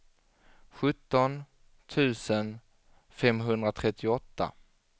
sjutton tusen femhundratrettioåtta